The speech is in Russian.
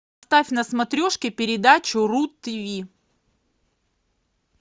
ставь на смотрешке передачу ру тв